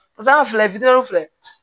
Basan fila fitinin filɛ